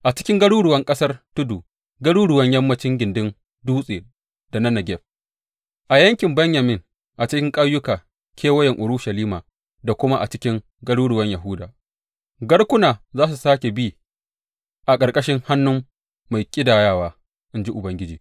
A cikin garuruwan ƙasar tudu, garuruwan yammancin gindin dutse da na Negeb, a yankin Benyamin, a cikin ƙauyuka kewayen Urushalima da kuma a cikin garuruwan Yahuda, garkuna za su sāke bi a ƙarƙashin hannun mai ƙidayawa,’ in ji Ubangiji.